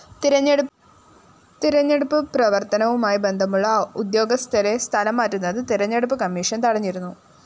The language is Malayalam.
തെരഞ്ഞെടുപ്പ് പ്രവര്‍ത്തനവുമായി ബന്ധമുള്ള ഉദ്യോഗസ്ഥരെ സ്ഥലംമാറ്റുന്നത് തെരഞ്ഞെടുപ്പ് കമ്മീഷൻ തടഞ്ഞിരുന്നു